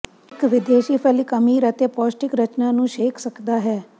ਇਹ ਵਿਦੇਸ਼ੀ ਫਲ ਇੱਕ ਅਮੀਰ ਅਤੇ ਪੌਸ਼ਟਿਕ ਰਚਨਾ ਨੂੰ ਸ਼ੇਖ ਸਕਦਾ ਹੈ